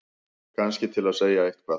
Kannski til að segja eitthvað.